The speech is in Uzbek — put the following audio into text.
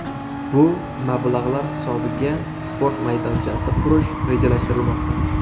Bu mablag‘lar hisobiga sport maydonchasi qurish rejalashtirilmoqda.